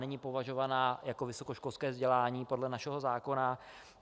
Není považovaná jako vysokoškolské vzdělání podle našeho zákona.